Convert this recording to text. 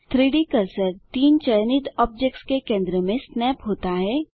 3डी कर्सर 3 चयनित ऑब्जेक्ट्स के केंद्र में स्नैप होता है